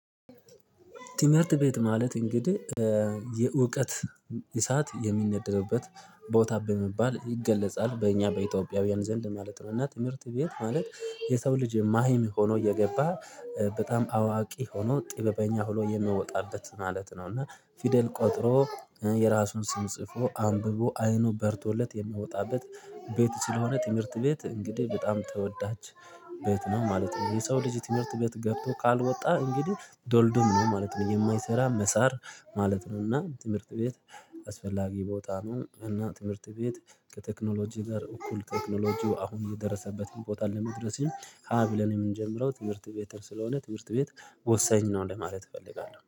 ትምህርት ቤት ማለት እንግዲህ የእውቀት እሳት የሚነደድበት ቦታ በመባል ይገለጻል በእኛ በኢትዮጵያውያን ዘንድ ማለት ነው። እና ትምህርት ቤት ማለት የሰው ልጅ መሃይም ሆኖ የገባ በጣም አዋቂ ሆኖ ጥበበኛ ሆኖ የምወጣበት ማለት ነው እና ፊደል ቆጥሮ የራሱን ስም ጽፎ አንብቦ አይኑ በርቶለት የምወጣበት ቤት ስለሆነ ትምህርት ቤት እንግዲህ በጣም ተወዳች ቤት ነው ማለት ነው። የሰው ልጅ ትምህርት ቤት ገብቶ ካልወጣ እንግዲህ ዶልዱም ነው ማለት ነው የማይሰራ መሳር ማለት ነው። እና ትምህርት ቤት አስፈላጊ ቦታ ነው እና ትምህርት ቤት ከቴክኖሎጂ ጋር እኩል ቴክኖሎጂው አሁን የደረሰበት ቦታ ለመድረስም ሀ ብለን የምንጀምረው ትምህርት ቤት ስለሆነ ትምህርት ቤት ወሳኝ ነው። ለማለት እፈልጋለሁ